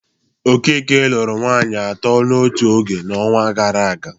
Okeke lụru nwaanyị atọ n'otu oge n'ọnwa gara aga.